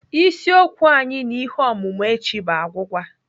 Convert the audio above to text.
Isiokwu anyị na ihe ọmụmụ echi bụ agwụgwa.